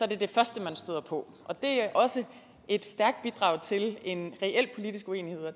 det det første man støder på det er også et stærkt bidrag til en reel politisk uenighed og